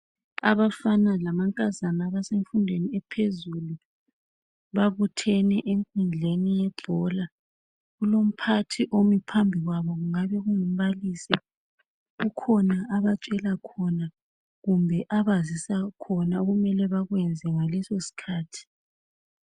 Abafana lamankazana abasemfundweni ephezulu babuthene enkundleni yebhola kulomphathi omi phambi kwabo kungabe kungumbalisi kukhona abatshela khona kumbe abazisa khona okumele bakwenze ngalesi sikhathi.